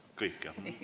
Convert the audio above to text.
Kõik, jah?